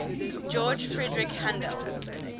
george frideric handel